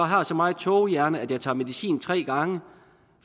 har så meget tågehjerne at jeg tager medicin tre gange